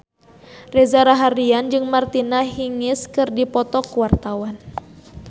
Reza Rahardian jeung Martina Hingis keur dipoto ku wartawan